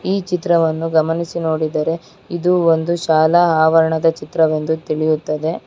ಈ ಚಿತ್ರವನ್ನು ಗಮನಿಸಿ ನೋಡಿದರೆ ಇದು ಒಂದು ಶಾಲಾ ಆವರಣದ ಚಿತ್ರವೆಂದು ತಿಳಿಯುತ್ತದೆ.